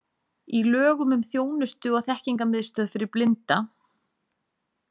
Í lögum um þjónustu- og þekkingarmiðstöð fyrir blinda.